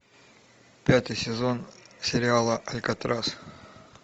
пятый сезон сериала алькатрас